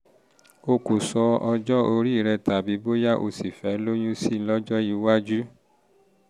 o kò sọ ọjọ́ orí rẹ tàbí bóyá o ṣì fẹ́ lóyún sí i lọ́jọ́ iwájú